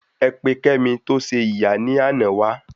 Ẹ pe kemi to se ìyá ni àná wa